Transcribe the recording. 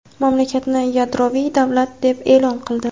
mamlakatni yadroviy davlat deb e’lon qildi.